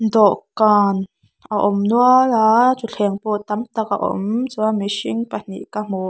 dawhkan a awm nual a thuthleng pawh tamtak a awm chuan mihring pahnih ka hmu--